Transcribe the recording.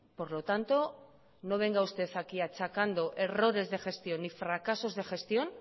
por lo tanto no venga usted aquí achacando errores de gestión y fracasos de gestión